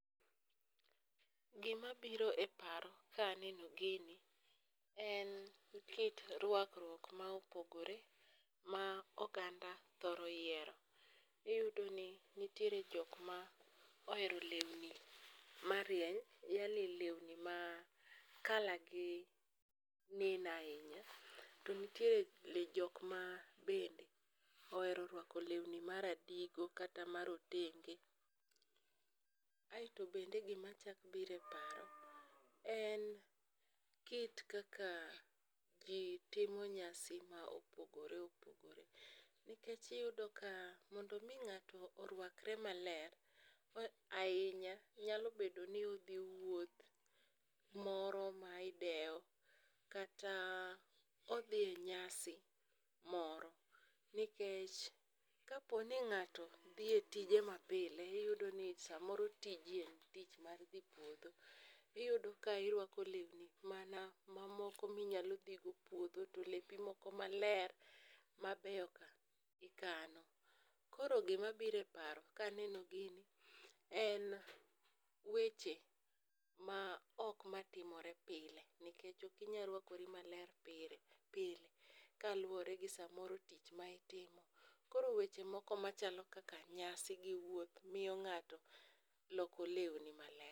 Gimabiro e paro kaneno gini en kit rwakruok ma opogore ma oganda thoro yiero. Iyudoni nitiere jok ma ohero lewni marieny, yaani lewni ma colour gi neno ahinya, to nitiere jok ma bende ohero rwako lewni maradigo kata marotenge. Aeto bende gimachak biro e paro en kit kaka ji timo nyasi ma opogore opogore. Nikech iyudo ka mondo omi ng'ato orwakre maler ahinya, nyalo bedo ni odhi wuoth moro ma idewo kata odhi e nyasi moro. Nikech kapo ni ng'ato dhi e tije mapile, iyudo ni samoro tije en tich mar dhi puodho. Iyudo ka irwako lewni mana mamoko minyalo dhi go puodho to lepi moko maler mabeyo ka, ikano. Koro gimabiro e paro kaneno gini en weche ma ok matimore pile nikech ok inya rwakori maler pile kaluwore gi samoro tich ma itimo. Koro weche moko machalo kaka nyasi, gi wuoth miyo ng'ato loko lewni maler.